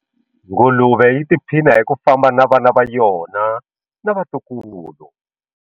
Nguluve yi tiphina hi ku famba na vana va yona na vatukulu.